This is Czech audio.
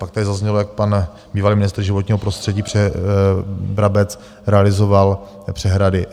Pak tady zaznělo, jak pan bývalý ministr životního prostředí Brabec realizoval přehrady.